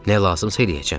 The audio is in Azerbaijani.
Nə lazımdırsa eləyəcəm.